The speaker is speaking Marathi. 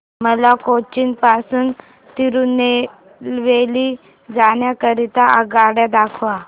मला कोचीन पासून तिरूनेलवेली जाण्या करीता आगगाड्या दाखवा